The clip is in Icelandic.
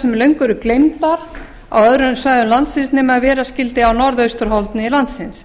sem löngu eru gleymdar á öðrum svæðum landsins nema ef vera skyldi á norðausturhorni landsins